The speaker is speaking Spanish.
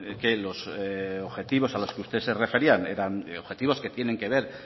que los objetivos a los que usted se refería eran objetivos que tienen que ver